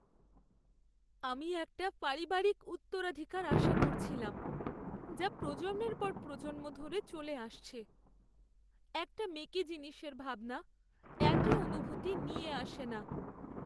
আমি একটা পারিবারিক উত্তরাধিকার আশা করছিলাম, যা প্রজন্মের পর প্রজন্ম ধরে চলে আসছে। একটা মেকি জিনিসের ভাবনা একই অনুভূতি নিয়ে আসে না।